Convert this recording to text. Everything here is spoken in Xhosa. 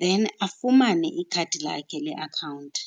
then afumane ikhadi lakhe leakhawunti.